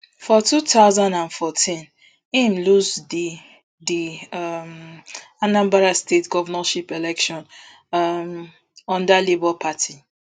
for two thousand and fourteen im lose di di um anambra state govnorship election um under labour party